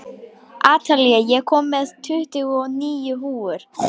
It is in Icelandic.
Atalía, ég kom með tuttugu og níu húfur!